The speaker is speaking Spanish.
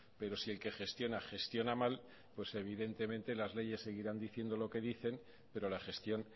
pero si el que gestiona gestiona mal evidentemente las leyes seguirán diciendo lo que dicen pero la gestión